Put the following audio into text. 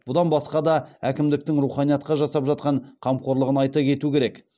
бұдан басқа да әкімдіктің руханиятқа жасап жатқан қамқорлығын айта кету керек